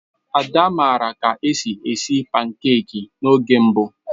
Ada maara ka esi esi pankeki n'oge mbụ.